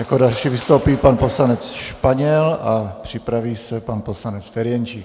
Jako další vystoupí pan poslanec Španěl a připraví se pan poslanec Ferjenčík.